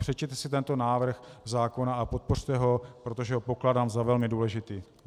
Přečtěte si tento návrh zákona a podpořte ho, protože ho pokládám za velmi důležitý.